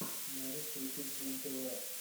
можешь включить бумтв